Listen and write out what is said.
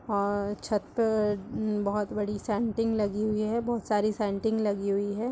और छत बहोत बड़ी है सेन्टिग लगी हुई है बहुत सारी सेन्टिग लगी हुई है।